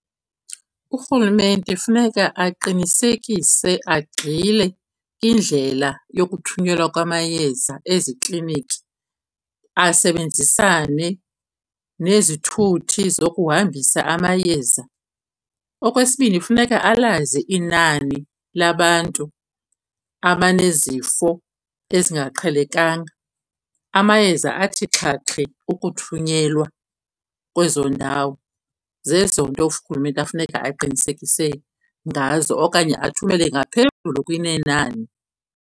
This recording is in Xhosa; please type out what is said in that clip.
Urhulumente funeka aqinisekise agxile indlela yokuthunyelwa kwamayeza ezikliniki asebenzisane nezithuthi zokuhambisa amayeza. Okwesibini, funeka alazi inani labantu abanezifo ezingaqhelekanga, amayeza athi xhaxhe ukuthunyelwa kwezo ndawo. Zezo nto urhulumente afuneka aqinisekise ngazo okanye athumele ngaphezulu kunenani.